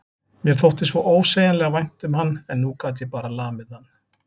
Mér þótti svo ósegjanlega vænt um hann en nú gat ég bara lamið hann.